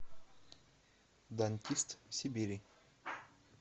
дантист сибири